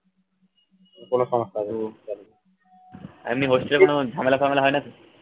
আর এমনি hostel এ কোনো ঝামেলা ফামেলা হয়না তো